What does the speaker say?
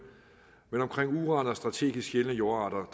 men omkring uran og strategisk sjældne jordarter